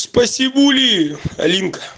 спасибули алинка